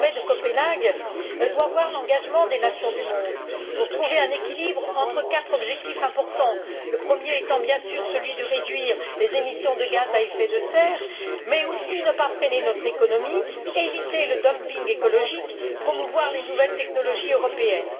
Le sommet de Copenhague doit bénéficier de l'engagement des nations du monde pour trouver un équilibre entre quatre objectifs importants, le premier étant, bien sûr, celui de réduire les émissions de gaz à effet de serre, mais il s'agit aussi de ne pas freiner notre économie, d'éviter le dumping écologique et de promouvoir les nouvelles technologies européennes.